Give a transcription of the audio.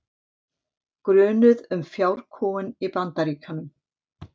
Grunuð um fjárkúgun í Bandaríkjunum